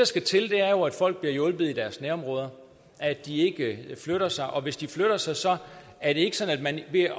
skal til er jo at folk bliver hjulpet i deres nærområde at de ikke flytter sig og at hvis de flytter sig sig er det ikke sådan at man ved